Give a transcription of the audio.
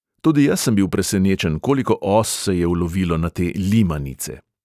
Tudi jaz sem bil presenečen, koliko os se je ulovilo na te "limanice".